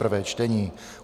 prvé čtení